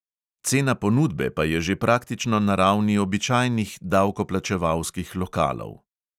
Cena ponudbe pa je že praktično na ravni običajnih davkoplačevalskih lokalov.